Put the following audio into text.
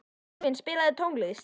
Dalvin, spilaðu tónlist.